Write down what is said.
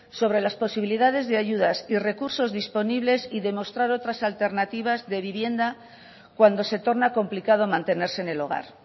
sobre las posibilidades de ayudas y recursos disponibles y demostrar otras alternativas de vivienda cuando se torna complicado mantenerse en el hogar